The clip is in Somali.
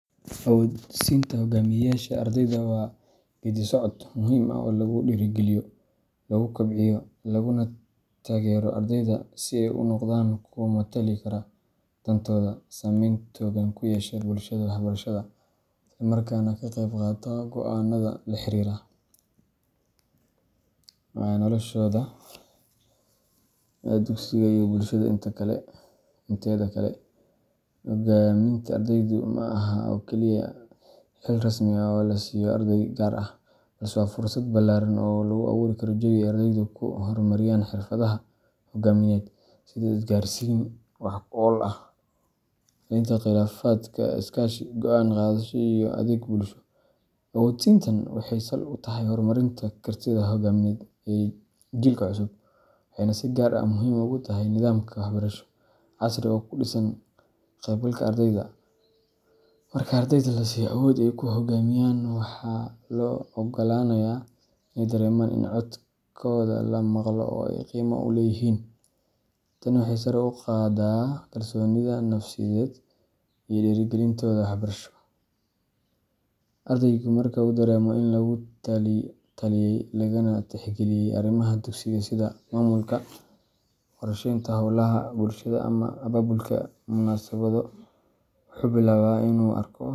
Awood-siinta hoggaamiyeyaasha ardayda waa geeddi-socod muhiim ah oo lagu dhiirrigeliyo, lagu kobciyo, laguna taageero ardayda si ay u noqdaan kuwo matali kara dantooda, saameyn togan ku yeesha bulshada waxbarashada, isla markaana ka qaybqaata go’aanada la xiriira noloshooda dugsiga iyo bulshada inteeda kale. Hoggaaminta ardaydu ma aha oo keliya xil rasmi ah oo la siiyo arday gaar ah, balse waa fursad ballaaran oo loo abuuro jawi ay ardaydu ku horumariyaan xirfadaha hoggaamineed sida isgaarsiin wax-ku-ool ah, xalinta khilaafaadka, iskaashi, go’aan qaadasho, iyo adeeg bulsho. Awood-siintan waxay sal u tahay horumarinta kartida hogaamineed ee jiilka cusub, waxayna si gaar ah muhiim ugu tahay nidaamka waxbarasho casri ah oo ku dhisan ka-qaybgalka ardayda. Marka ardayda la siiyo awood ay ku hoggaamiyaan, waxaa loo oggolaanayaa inay dareemaan in codkooda la maqlo oo ay qiimo leeyihiin. Tani waxay sare u qaadaa kalsoonidooda nafsiyadeed iyo dhiirrigelintooda waxbarasho. Ardaygu marka uu dareemo in lagula taliyay, lagana tixgeliyay arrimaha dugsiga, sida maamulka, qorsheynta hawlaha bulshada, ama abaabulka munaasabado, wuxuu bilaabaa inuu arko.